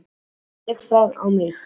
Ég tek það á mig.